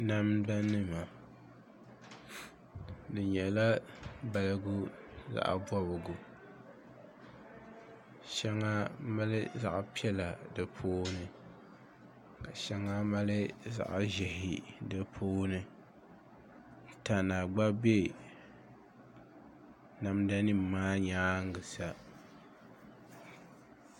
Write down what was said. Namda nima di nyɛla balibu zaɣ bobgu shɛŋa mali zaɣ piɛla di puuni ka shɛŋa mali zaɣ ʒiɛhi di puuni tana gba bɛ namda nim maa nyaangi sa